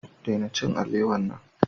Daina cin alewa nan.